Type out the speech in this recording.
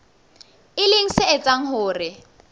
e leng se etsang hore